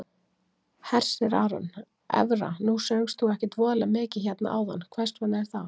Hersir Aron: Evra nú söngst þú ekkert voðalega mikið hérna áðan, hvers vegna er það?